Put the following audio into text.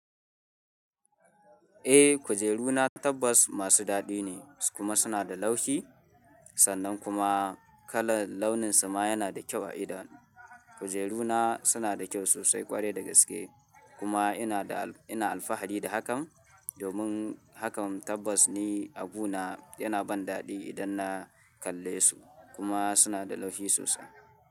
Eh, kujeru na tabbass masu daɗi ne kuma suna da laushi sannan kuma kalar launinsa ma yana da kyau a idon. Kujeru na suna da kyau sosai ƙwarai da gaske kuma ina da, ina alfahari da hakan domin hakan tabbas ne abu na yana ban daɗi idan na kalle su kuma suna da laushi sosai.